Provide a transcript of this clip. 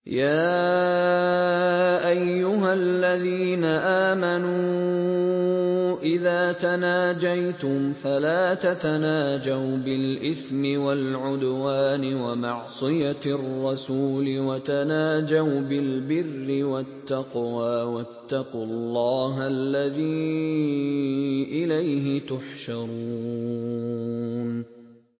يَا أَيُّهَا الَّذِينَ آمَنُوا إِذَا تَنَاجَيْتُمْ فَلَا تَتَنَاجَوْا بِالْإِثْمِ وَالْعُدْوَانِ وَمَعْصِيَتِ الرَّسُولِ وَتَنَاجَوْا بِالْبِرِّ وَالتَّقْوَىٰ ۖ وَاتَّقُوا اللَّهَ الَّذِي إِلَيْهِ تُحْشَرُونَ